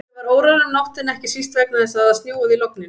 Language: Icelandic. Ég var órór um nóttina, ekki síst vegna þess að það snjóaði í logninu.